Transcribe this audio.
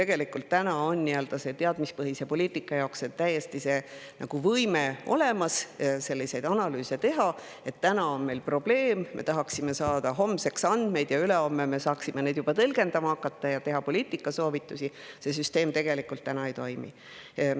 Meil on teadmispõhise poliitika jaoks täiesti olemas võime selliseid analüüse teha, et täna on meil probleem, me tahaksime saada homseks andmeid, et ülehomme saaksime juba tõlgendama hakata ja teha poliitikasoovitusi, aga see süsteem tegelikult ei toimi.